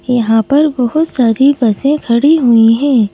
यहां पर बहुत सारी बसे खड़ी हुई है।